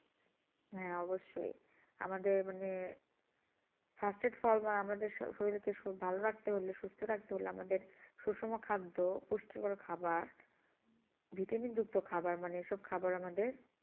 হ্যাঁ অবশ্যই আমাদের মানে স্বাস্থ্যের ফল মানে আমাদের শো~শরীরে কিছু ভালো রাখতে হলে সুস্থ রাখতে হলে আমাদের সুষম খাদ্য পুষ্টিকর খাবার vitamin যুক্ত খাবার মানে এসব খাবার আমাদের